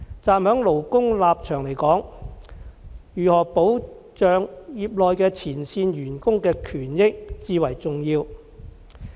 站在勞工的立場來說，如何保障業內的前線員工的權益至為重要。